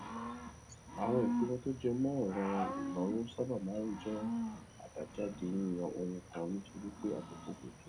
àwọn ìpinnu tó jẹ mọ òràn ìnáwó sábà máa ń jẹ àbájáde yíyan ohun kan nítorí pé àkókò ò tó